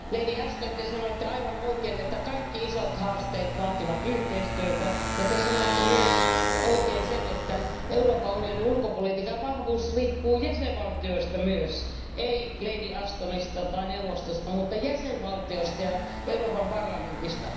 Lady Ashton, te sanoitte aivan oikein, että kaikki isot haasteet vaativat yhteistyötä, ja te sanoitte oikein myös, että Euroopan unionin ulkopolitiikan vahvuus riippuu myös jäsenvaltioista, ei lady Ashtonista tai neuvostosta, vaan jäsenvaltioista ja Euroopan parlamentista.